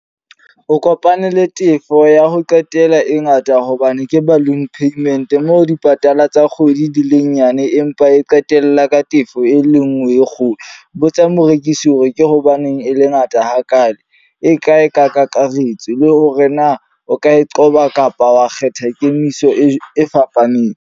O kopane le tefo ya ho qetela e ngata hobane ke balloon payment. Moo dipatala tsa kgwedi di le nyane empa e qetella ka tefo e le nngwe e kgolo. Botsa morekisi hore ke hobaneng e le ngata hakalo. E kae ka kakaretso? Le hore na o ka e qoba kapa wa kgetha kemiso e fapaneng.